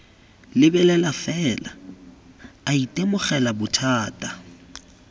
lebelela fela a itemogela bothata